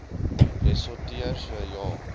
ressorteer so ja